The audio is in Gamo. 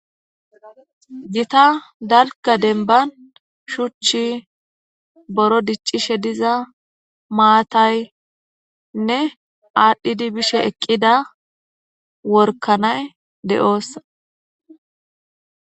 Gita dalka denban shuchchi boro diccishe diza maataynne aadhdhidi bishe eqqida workanay de7oossa